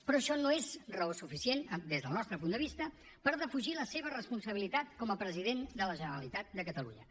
però això no és raó suficient des del nostre punt de vista per defugir la seva responsabilitat com a president de la generalitat de catalunya